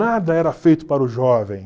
Nada era feito para o jovem.